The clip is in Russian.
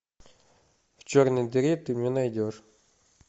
в черной дыре ты мне найдешь